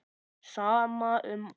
Sama um allt.